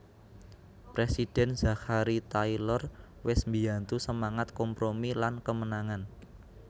Presiden Zachary Taylor wes mbiyantu semangat kompromi lan kemenangan